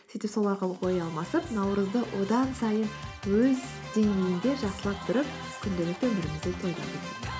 сөйтіп сол арқылы ой алмасып наурызды одан сайын өз деңгейінде жақсылап тұрып күнделікті өмірімізде тойлайық